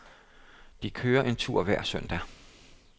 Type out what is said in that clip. De kører en tur hver søndag.